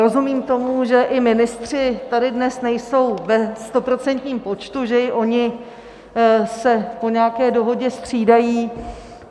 Rozumím tomu, že i ministři tady dnes nejsou ve stoprocentním počtu, že i oni se po nějaké dohodě střídají.